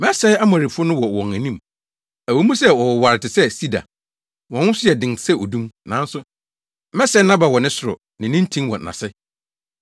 “Mesɛee Amorifo no wɔ wɔn anim, ɛwɔ mu sɛ wɔwoware te sɛ sida. Wɔn ho nso yɛ den sɛ odum. Nanso mesɛee nʼaba wɔ ne soro, ne ne ntin wɔ nʼase.